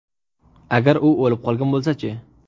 Agar u o‘lib qolgan bo‘lsa-chi?